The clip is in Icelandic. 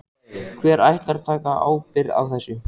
Hver ætlar að taka ábyrgð á þessu?